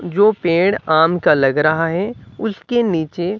जो पेड़ आम का लग रहा है उसके नीचे--